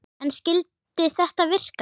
En skyldi þetta virka?